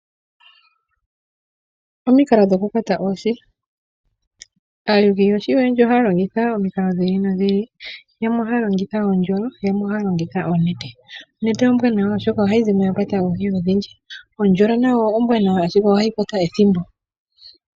Omikalo dhokukwata oohi, aayuli yoohi ohaya longitha omikalo dhi ili nodhi ili, yamwe ohaya longitha oondjolo, yamwe ohaya longitha oonete, onete ombwanawa oshoka ohayi zi mo yakwata oohi odhindji, ondjolo nayo ombwaanawa, ashike ohayi kwata ethimbo.